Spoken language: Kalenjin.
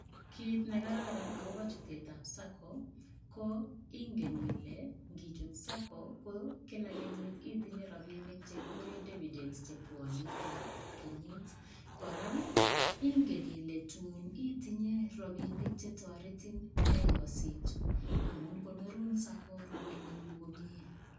Kit ne kararan agobo chutetab sacco, ko ingen ile ngichut sacco ko kila kenyit itinye rapinik che kikuren devidence che bwonei kila kenyit. Kora ingen ile tun itinye rapinik chetoretin ndeyositu amun konorun sacco rapinikuk komie.